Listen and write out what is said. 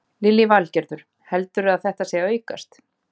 Lillý Valgerður: Heldurðu að það sé að aukast?